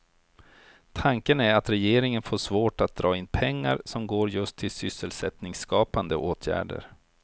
Tanken är att regeringen får svårt att dra in pengar som går just till sysselsättningsskapande åtgärder.